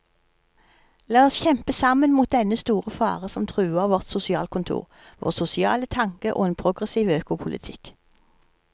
La oss kjempe sammen mot dennne store fare som truer vårt sosialkontor, vår sosiale tanke og en progressiv økopolitikk.